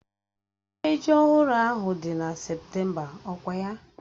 Ememme ji ọhụrụ ahụ dị na Septemba ọkwa ya?